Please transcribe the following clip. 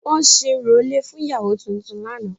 Wọ́n ṣe orò ilé fún ìyàwó tuntun lánàá